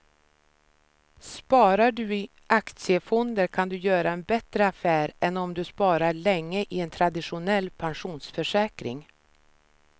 Sparar du i aktiefonder kan du göra en bättre affär än om du sparar länge i en traditionell pensionsförsäkring.